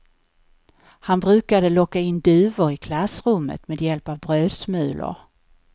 Han brukade locka in duvor i klassrummet med hjälp av brödsmulor.